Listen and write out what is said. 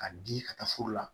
Ka di ka taa furu la